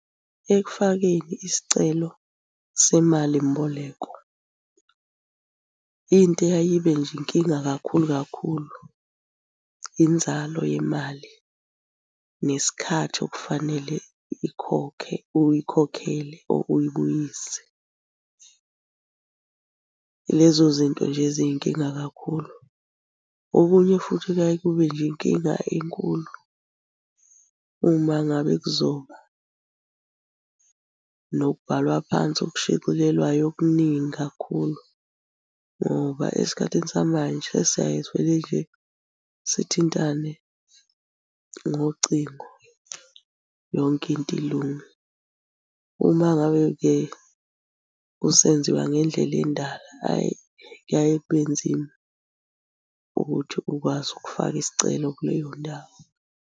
Ekufakeni isicelo semalimboleko, into eyayibe nje inkinga kakhulu kakhulu inzalo yemali nesikhathi okufanele ikhokhe uyikhokhele or uyibuyise, ilezo zinto nje eziyinkinga kakhulu. Okunye futhi kuyaye kube nje inkinga enkulu uma ngabe kuzoba nokubhalwa phansi okushicilelwayo okuningi kakhulu, ngoba esikhathini samanje sesiyaye sivele nje sithintane ngocingo yonke into ilunge. Uma ngabe-ke kusenziwa ngendlela endala, hhayi kuyaye kube nzima ukuthi ukwazi ukufaka isicelo kuleyo ndawo.